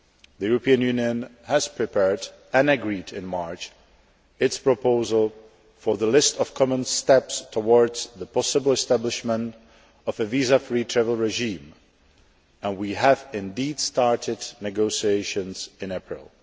The European Union has prepared and agreed in March its proposal for the list of common steps towards the possible establishment of a visa free travel regime, and we have indeed started negotiations in April.